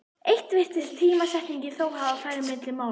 Eitthvað virtist tímasetningin þó hafa farið milli mála.